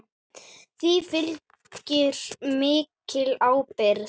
Því fylgir mikil ábyrgð.